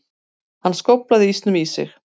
Hann skóflaði ísnum í sig.